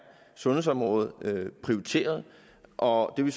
sundhedsområdet prioriteret og det vil